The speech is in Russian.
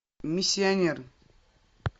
миссионер